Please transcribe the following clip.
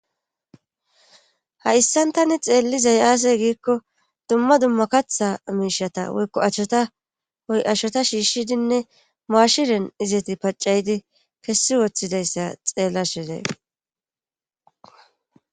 ha issantani xeellizay aasey giikko dumma dumma katha miishata woykko acshota oy acshota shiishshidinne maashiren izeti paccaydi kessi woththidayssa xeella shezey